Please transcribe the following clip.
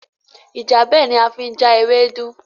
Ìjábẹ̀ ni a fi ń já ewédú